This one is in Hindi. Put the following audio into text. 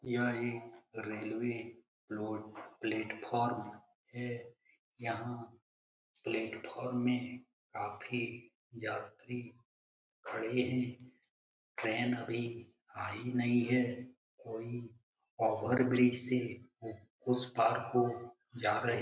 यह एक रेलवे लोड प्लेटफार्म है। यहाँ प्लेटफार्म में काफी यात्री खड़े हैं ट्रेन अभी आई नहीं है कोई ओवर-ब्रिज से उ उसपार को जा रहे --